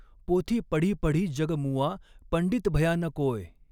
पोथी पढ़ी पढ़ी जग मुआ, पंडित भया न कोय,